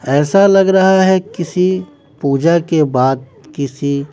ऐसा लग रहा है किसी पूजा के बाद किसी--